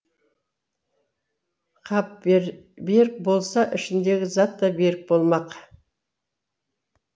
қап берік болса ішіндегі зат та берік болмақ